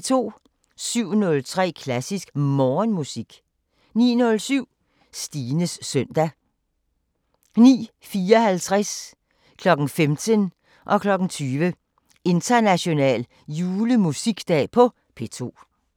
07:03: Klassisk Morgenmusik 09:07: Stines søndag 09:54: International julemusikdag på P2 15:00: International julemusikdag på P2 20:00: International julemusikdag på P2